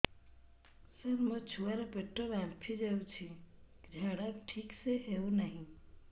ସାର ମୋ ଛୁଆ ର ପେଟ ଫାମ୍ପି ଯାଉଛି ଝାଡା ଠିକ ସେ ହେଉନାହିଁ